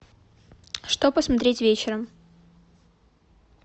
что посмотреть вечером